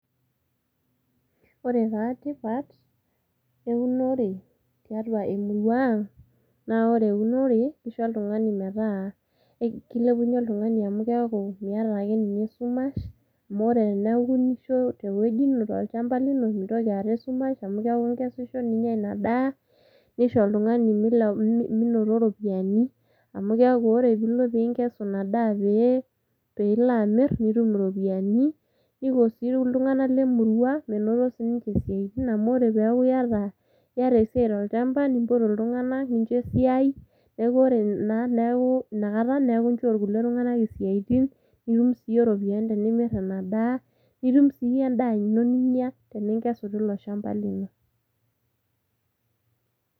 Ore taa tipat eunore tiatua emurua aang' naa ore eunore kisho oltung'ani metaa kilepunye oltung'ani amu keeku miata ake ninye esumash amu ore eneeku iwunisho te woji ino tolchamba lino mintoki aata esumash amu keeku ikesisho ninya Ina daa, nisho oltung'ani oltung'ani minoto iropiani amu keeku kore piilo piinkesu ina daa pee pee ilo amir nitum iropiani. Niko sii iltung'anak le murua menoto sininje isiaitin amu ore peeku iyata esiai tolchamba nimbotu iltung'anak, ninjo esiai neeku ore naa neeku inakata inchoo irkulie tung'anak isiaitin nitum siye iropiani tenimir Ina daa, nitum sii iye endaa ino ninya tening'esu tilo shamba lino.